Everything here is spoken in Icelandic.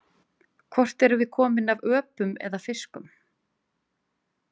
Hvort erum við komin af öpum eða fiskum?